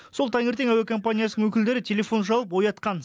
сол таңертең әуе компаниясының өкілдері телефон шалып оятқан